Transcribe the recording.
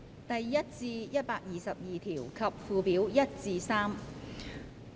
第1至122條及附表1至3。